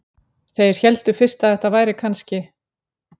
Þeir héldu fyrst að þetta væri kannski